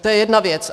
To je jedna věc.